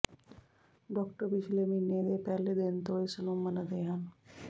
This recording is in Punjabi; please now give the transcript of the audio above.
ਡਾਕਟਰ ਪਿਛਲੇ ਮਹੀਨੇ ਦੇ ਪਹਿਲੇ ਦਿਨ ਤੋਂ ਇਸ ਨੂੰ ਮੰਨਦੇ ਹਨ